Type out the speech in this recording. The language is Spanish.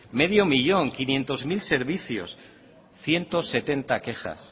medio millón quinientos mil servicios ciento setenta quejas